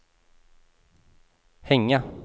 hänga